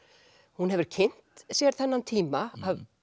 hún hefur kynnt sér þennan tíma